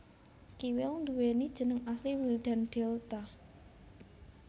Kiwil nduweni jeneng asli Wildan Delta